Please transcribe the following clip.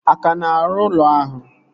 A ka na-arụ ụlọ ahụ?